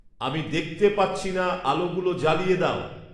আমি দেখতে পাচ্ছি না আলোগুলো জ্বালিয়ে দাও